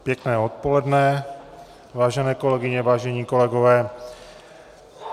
Pěkné odpoledne, vážené kolegyně, vážení kolegové.